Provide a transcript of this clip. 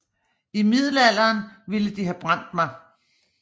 I middelalderen ville de have brændt mig